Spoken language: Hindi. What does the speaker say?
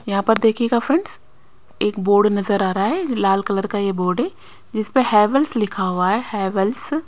यहां पर देखियेगा फ्रेंड्स एक बोर्ड नजर आ रहा है लाल कलर का ये बोर्ड है जिसपे हैवेल्स लिखा हुआ है हैवेल्स --